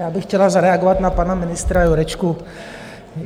Já bych chtěla zareagovat na pana ministra Jurečku.